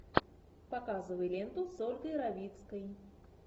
показывай ленту с ольгой равицкой